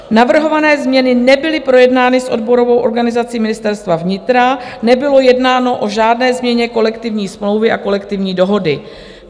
navrhované změny nebyly projednány s odborovou organizací Ministerstva vnitra, nebylo jednáno o žádné změně kolektivní smlouvy a kolektivní dohody.